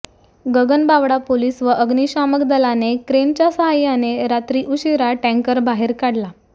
Gaganbawada police व अग्निशामक दलाने क्रेनच्या साहाय्याने रात्री उशीरा टँकर बाहेर काढला